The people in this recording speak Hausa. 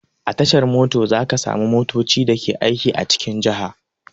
A tashar mota za ka samu motoci da ke aiki a cikin jaha.